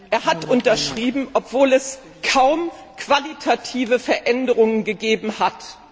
Er hat unterschrieben, obwohl es kaum qualitative Veränderungen gegeben hat.